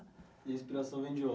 E a inspiração vem de onde?